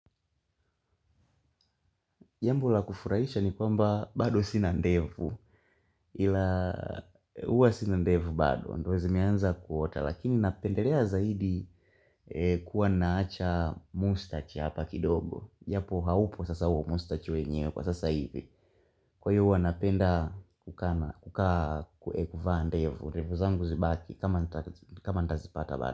Jambo la kufurahisha ni kwamba bado sinandevu, ila uwa sinandevu bado, ndo zimeanza kuota, lakini napendelea zaidi kuwa naacha mustachi hapa kidogo. Yapo haupo sasa uwa mustachi wenyewe kwa sasa hivi. Kwa hiyo huwanapenda kukaa kuekufaandevu, revu zangu zibaki kama ndazipata bada.